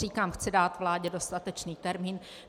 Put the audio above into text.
Říkám, chci dát vládě dostatečný termín.